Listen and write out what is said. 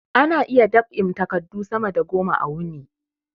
Ana iya dab'in takadu sama da goma a wuni